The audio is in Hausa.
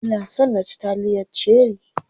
Ina son na ci taliyar cherie.